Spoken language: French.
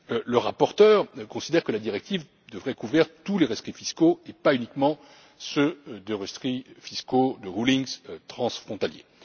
Le rapporteur considère que la directive devrait couvrir tous les rescrits fiscaux et pas uniquement les rescrits fiscaux transfrontaliers.